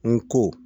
N ko